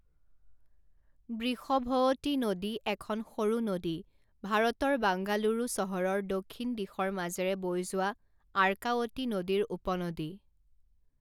বৃষভৱতী নদী এখন সৰু নদী ভাৰতৰ বাংগালুৰু চহৰৰ দক্ষিণ দিশৰ মাজেৰে বৈ যোৱা আৰ্কাৱতী নদীৰ উপনদী।